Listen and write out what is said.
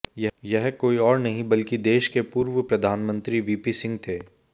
यह कोई और नहीं बल्कि देश के पूर्व प्रधानमंत्री वीपी सिंह थे